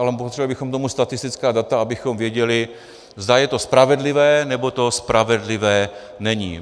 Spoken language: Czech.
Ale potřebovali bychom k tomu statistická data, abychom věděli, zda je to spravedlivé nebo to spravedlivé není.